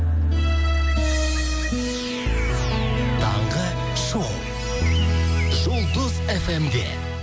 таңғы шоу жұлдыз эф эм де